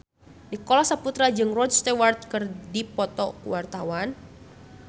Nicholas Saputra jeung Rod Stewart keur dipoto ku wartawan